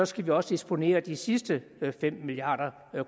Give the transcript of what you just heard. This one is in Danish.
skal vi også disponere de sidste fem milliard